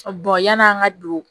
yan'an ka don